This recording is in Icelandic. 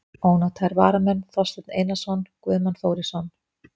Ónotaðir varamenn: Þorsteinn Einarsson, Guðmann Þórisson.